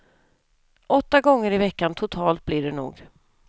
Åtta gånger i veckan totalt blir det nog.